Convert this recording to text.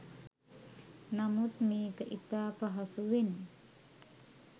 නමුත් මේක ඉතා පහසුවෙන්